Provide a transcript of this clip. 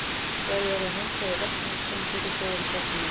Bæði orðin handklæði og vettlingur koma fyrir þegar í fornu máli.